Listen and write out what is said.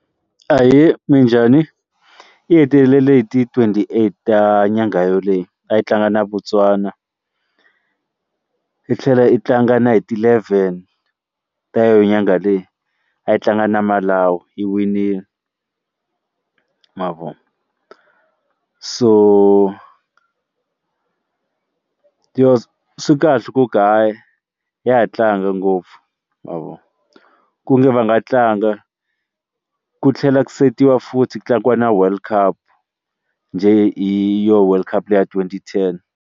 Ahee, minjhani? Yi hetelele hi ti twenty-eight ya nyangha yoleyi a yi tlanga na Botswana yi tlhela yi tlanga na hi ti-eleven ta yo nyangha leyi a yi tlanga na Malawu yi winile ma vo so so swi kahle ku kaya ya tlanga ngopfu ma vo ku nge va nga tlanga ku tlhela ku setiwa futhi ku tlangiwa na world cup njhe hi yo world cup leyi ya twenty ten.